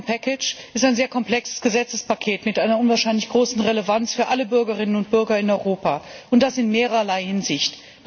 Das Telekom Paket ist ein sehr komplexes Gesetzespaket mit einer unwahrscheinlich großen Relevanz für alle Bürgerinnen und Bürger in Europa, und das in mehrerlei Hinsicht.